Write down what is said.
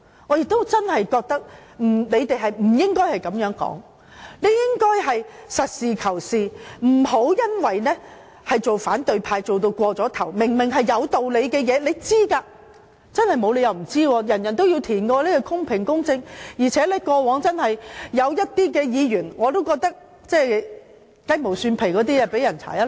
我真的認為他們不應該這樣說，他們理應實事求是，不要因為當反對派過了火，明明是有道理的，他們應該知道——真的不可能不知道，每位議員都要填寫表格，那是公平、公正的，而且過往亦有議員因為雞毛蒜皮的事被調查。